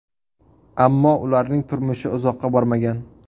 Ammo ularning turmushi uzoqqa bormagan.